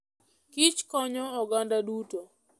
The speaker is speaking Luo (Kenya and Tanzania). Kich konyo oganda duto.